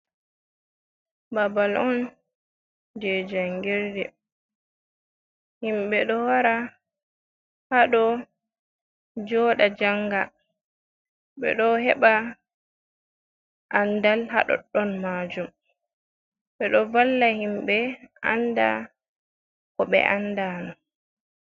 Babal on je jangirde. Himɓɓe ɗo wara haɗo jooɗa, janga, ɓe ɗo heɓa andal haa ɗoɗɗon maajum. Ɓe ɗo valla himɓɓe anda ko ɓe anda no.